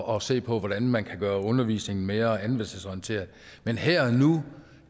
og se på hvordan man kan gøre undervisningen mere anvendelsesorienteret men her og nu